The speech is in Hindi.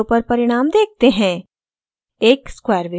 अब plot window पर परिणाम देखते हैं